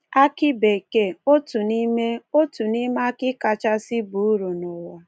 Akị bekee — otu n’ime — otu n’ime akị kachasị baa uru n’ụwa.